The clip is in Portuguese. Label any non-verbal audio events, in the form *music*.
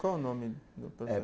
Qual o nome *unintelligible*